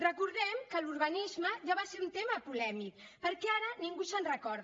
recordem que l’urbanisme ja va ser un tema polèmic perquè ara ningú se’n recorda